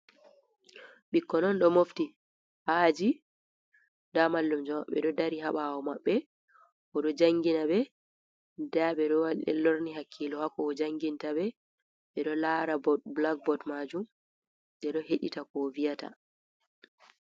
Ɓikkoi on ɗo mofti ha aji, nda mallumjo maɓɓe ɓe ɗo dari ha ɓawo maɓɓe o ɗo jangina ɓe nda ɓe ɗo lorni hakkilo ha ko o janginta ɓe. Ɓe ɗo lara blakbod majum ɓe ɗo heɗita ko o vi'ata.